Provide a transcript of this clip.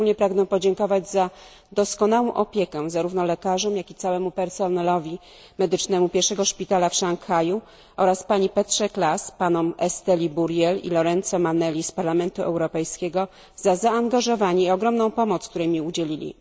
Pragnę szczególnie podziękować za doskonałą opiekę zarówno lekarzom, jak i całemu personelowi medycznemu pierwszego szpitala w Szanghaju oraz pani Petrze Claes, panom Esteli Burriel i Lorenzo Manelli z Parlamentu Europejskiego za zaangażowanie i ogromną pomoc, której mi udzielili.